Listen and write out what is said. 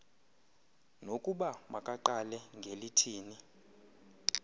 nokuba makaqale ngelithini